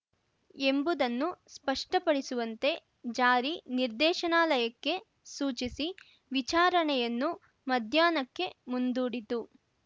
ಎಂಬುದನ್ನು ಸ್ಪಷ್ಟಪಡಿಸುವಂತೆ ಜಾರಿ ನಿರ್ದೇಶನಾಲಯಕ್ಕೆ ಸೂಚಿಸಿ ವಿಚಾರಣೆಯನ್ನು ಮಧ್ಯಾಹ್ನಕ್ಕೆ ಮುಂದೂಡಿತು